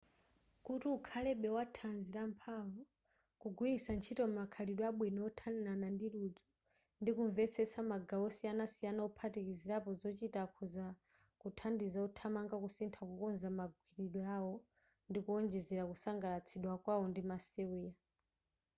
kuti ukhalebe wa thanzi lamphamvu kugwiritsa ntchito makhalidwe abwino othanirana ndi ludzu ndi kumvetsetsa magawo osiyanasiyana ophatikizirapo zochita akhoza kuthandiza othamanga kusintha kukonza magwiridwe awo ndi kuonjezera kusangalatsidwa kwawo ndi masewera